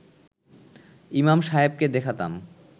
ইমাম সাহেবকে দেখাতাম